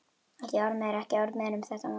Ekki orð meira, ekki orð meira um þetta mál.